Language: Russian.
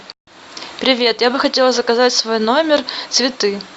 привет я бы хотела заказать в свой номер цветы